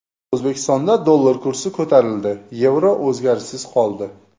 O‘zbekistonda dollar kursi ko‘tarildi, yevro o‘zgarishsiz qoldi.